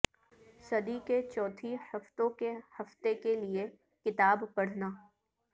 صدی کے چوتھی ہفتوں کے ہفتہ کے لئے کتاب پڑھنا